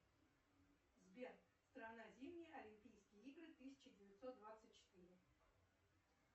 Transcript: сбер страна зимние олимпийские игры тысяча девятьсот двадцать четыре